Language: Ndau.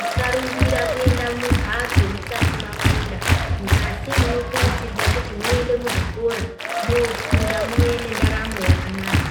musa rumbira kuenda mumhatso musati mafunda asi muno kurudzirwa kuti muenda muzvikora mofunda muuye ne ndaramo yakanaka.